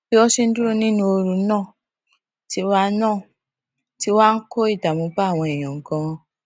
bí wón ṣe ń dúró nínú ooru náà ti wá náà ti wá ń kó ìdààmú bá àwọn èèyàn ganan